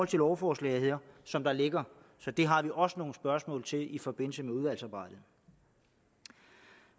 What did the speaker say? til lovforslaget her som det ligger så det har vi også nogle spørgsmål til i forbindelse med udvalgsarbejdet